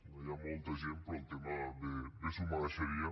no hi ha molta gent però el tema bé s’ho mereixeria